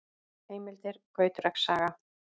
Heimildir: Gautreks saga.